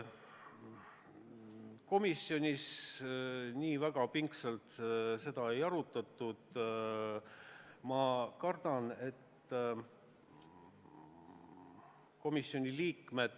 Komisjonis seda siiski pingsalt ei arutatud.